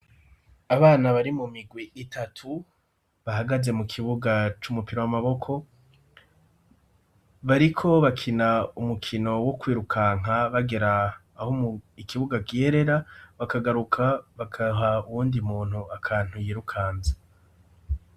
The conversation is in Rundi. Abana bari mu migwi itatu bahagaze mu kibuga c'umupira w'amaboko bariko bakina umukino wo kwirukanka bagera aho mu ikibuga giyerera bakagaruka bakaha uwundi muntu akantu yirukanza.